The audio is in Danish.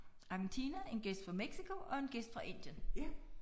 Argentina en gæst fra Mexico og en gæst fra Indien